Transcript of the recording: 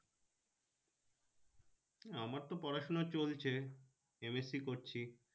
আমার তো পড়াশোনা চলছে MSC করছি